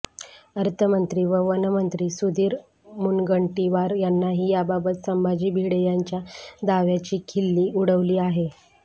अर्थमंत्री व वनमंत्री सुधीर मुनगंटीवार यांनीही याबाबत संभाजी भिडे यांच्या दाव्याची खिल्ली उडवली आहे